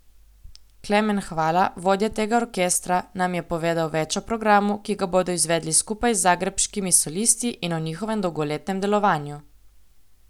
Klemen Hvala, vodja tega orkestra, nam je povedal več o programu, ki ga bodo izvedli skupaj z Zagrebškimi solisti, in o njihovem dolgoletnem delovanju.